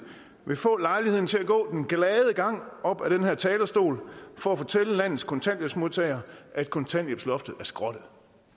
vil få lejlighed til at gå den glade gang op på den her talerstol for at fortælle landets kontanthjælpsmodtagere at kontanthjælpsloftet er skrottet